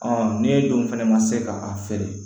ne dun fana ma se ka a feere